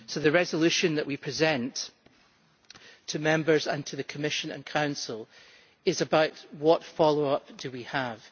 So the resolution that we present to Members and to the Commission and Council is about what follow up we have.